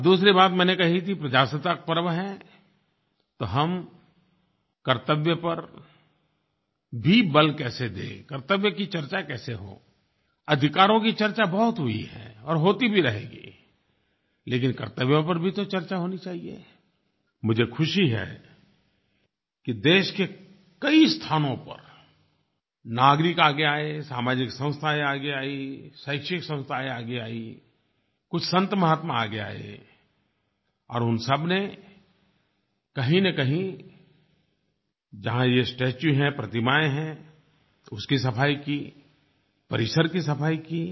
और दूसरी बात मैंने कही थी प्रजासत्ताक पर्व है तो हम कर्तव्य पर भी बल कैसे दें कर्तव्य की चर्चा कैसे हो अधिकारों की चर्चा बहुत हुई है और होती भी रहेगी लेकिन कर्तव्यों पर भी तो चर्चा होनी चाहिए मुझे खुशी है कि देश के कई स्थानों पर नागरिक आगे आए सामाजिक संस्थायें आगे आईं शैक्षिक संस्थायें आगे आईं कुछ संतमहात्मा आगे आए और उन सबने कहींनकहीं जहाँ ये स्टेच्यू हैं प्रतिमायें हैं उसकी सफ़ाई की परिसर की सफ़ाई की